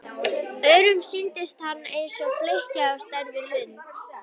Öðrum sýndist hann eins og flykki á stærð við hund.